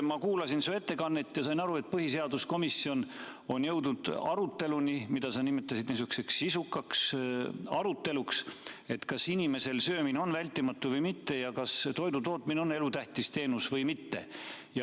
Ma kuulasin su ettekannet ja sain aru, et põhiseaduskomisjon on jõudnud aruteluni, mida sa nimetasid niisuguseks sisukaks aruteluks, kas inimesel söömine on vältimatu või mitte ja kas toidutootmine on elutähtis teenus või mitte.